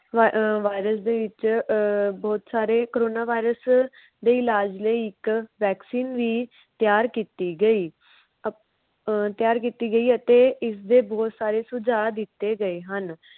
virus ਦੇ ਵਿੱਚ ਅਹ ਬੋਹਤ ਸਾਰੇ corona virus ਦੇ ਇਲਾਜ ਲਈ ਇਕ vaccine ਵੀ ਤਿਆਰ ਕੀਤੀ ਗਈ। ਅਹ ਤਿਆਰ ਕੀਤੀ ਗਈ ਅਤੇ ਇਸਦੇ ਬੋਹਤ ਸਾਰੇ ਸੁਜਾਅ ਦਿਤੇ ਗਏ ਸਨ।